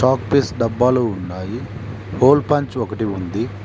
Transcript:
Chalk piece డబ్బాలు ఉన్నయి hole punch ఒకటి ఉంది.